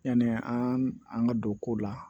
Yani an ka don ko la